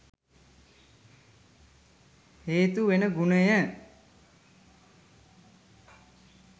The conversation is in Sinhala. හේතු වෙන ගුණය